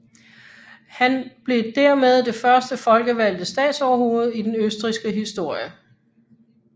Han blev dermed det første folkevalgte statsoverhoved i den østrigske historie